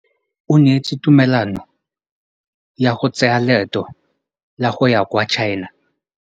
O neetswe tumalanô ya go tsaya loetô la go ya kwa China.